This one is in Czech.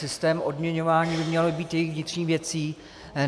Systém odměňování by měl být jejich vnitřní věcí.